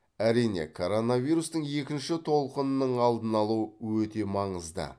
әрине коронавирустың екінші толқынының алдын алу өте маңызды